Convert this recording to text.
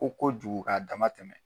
Ko kojugu k'a dama tɛmɛ